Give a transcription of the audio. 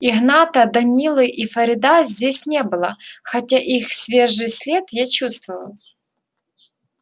игната данилы и фарида здесь не было хотя их свежий след я чувствовал